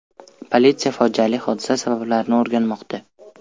Politsiya fojiali hodisa sabablarini o‘rganmoqda.